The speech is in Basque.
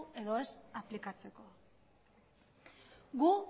edo ez aplikatzeko gu